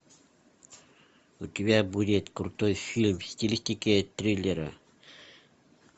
у тебя будет крутой фильм в стилистике триллера